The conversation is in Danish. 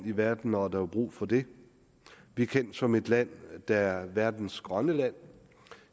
i verden når der er brug for det vi er kendt som et land der er verdens grønne land